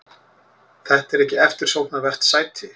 Þetta er ekki eftirsóknarvert sæti.